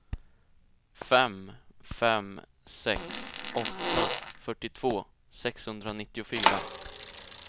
fem fem sex åtta fyrtiotvå sexhundranittiofyra